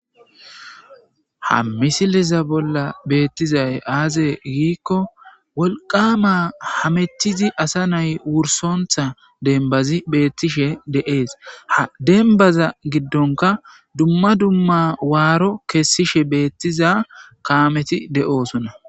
ha misiliza bolla beettizay aazee giikko wolqama hametizi asa nay wursontha denbazi beettishe de7ees ha denbaza giddonka dumma dumma waaro kessishe beettiza kaameti de7oosuna